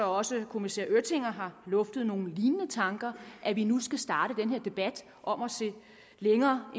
også kommissær öttinger har luftet nogle lignende tanker at vi nu skal starte den her debat om at se længere